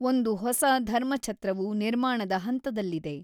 ಒಂದು ಹೊಸ ಧರ್ಮಛತ್ರವು ನಿರ್ಮಾಣದ ಹಂತದಲ್ಲಿದೆ.